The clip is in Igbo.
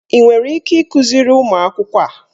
Ị nwere ike ịkụziri ụmụ akwụkwọ a?